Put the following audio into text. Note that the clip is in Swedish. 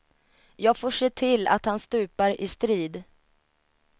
Jag får se till att han stupar i strid.